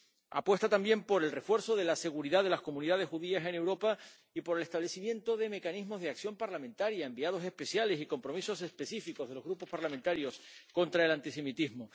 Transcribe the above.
Apuesta también por el refuerzo de la seguridad de las comunidades judías en Europa y por el establecimiento de mecanismos de acción parlamentaria, enviados especiales y compromisos específicos de los grupos parlamentarios contra el antisemitismo.